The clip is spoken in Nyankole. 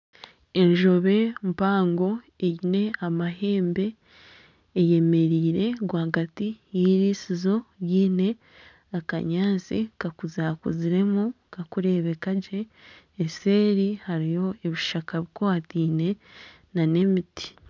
Enjobe mpango eine amahembe eyemereire rwagati y'iriisizo ryine akanyaatsi kakuzakuziremu kakureebeka gye obuseeri hariyo ebishaka bikwataine n'emiti.